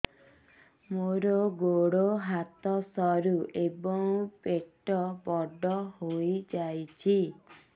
ମୋର ଗୋଡ ହାତ ସରୁ ଏବଂ ପେଟ ବଡ଼ ହୋଇଯାଇଛି